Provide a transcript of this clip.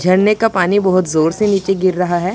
झरने का पानी बहोत जोर से नीचे गिर रहा हैं।